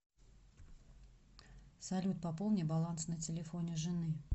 салют пополни баланс на телефоне жены